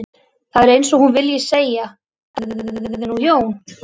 Það er eins og hún vilji segja: Þetta gerði nú Jón